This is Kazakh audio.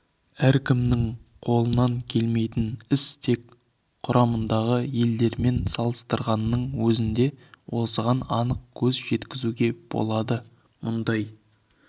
әркімнің қолынан келмейтін іс тек құрамындағы елдермен салыстырғанның өзінде осыған анық көз жеткізуге болады мұндай